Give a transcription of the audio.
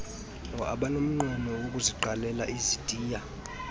abanomnqweno wokuziqalela izitiya